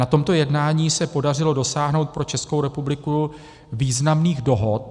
Na tomto jednání se podařilo dosáhnout pro Českou republiku významných dohod.